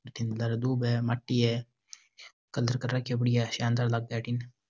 लारे दूब है मट्टी है कलर कर राखो है बढ़िया शानदार लागे अठीने --